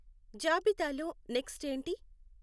జాబితాలో నెక్స్ట్ ఏంటి?